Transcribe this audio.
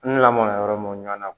N lamɔna yɔrɔ mun na